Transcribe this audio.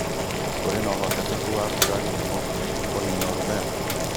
Kũrĩ na ũhotekeku wa mbura kisumu kunina ũrugarĩ